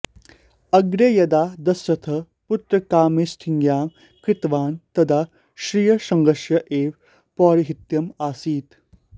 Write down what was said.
अग्रे यदा दशरथः पुत्रकामेष्ठियागं कृतवान् तदा ऋष्यशृङ्गस्य एव पौरोहित्यम् आसीत्